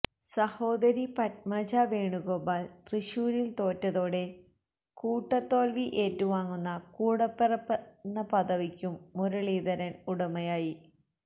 സഹോദരി പത്മജ വേണുഗോപാല് തൃശ്ശൂരില് തോറ്റതോടെ കൂട്ടതോല്വി ഏറ്റുവാങ്ങുന്ന കൂടപ്പിറപ്പെന്ന പദവിക്കും മുരളീധരന് ഉടമയായി